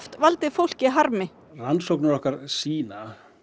valdið fólki harmi rannsóknir okkar sýna